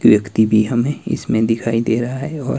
एक टी_वी हमे इसमें दिखाई दे रहा है और --